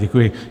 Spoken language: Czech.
Děkuji.